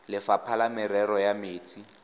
lefapha la merero ya metsi